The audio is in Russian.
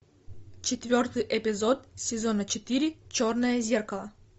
четвертый эпизод сезона четыре черное зеркало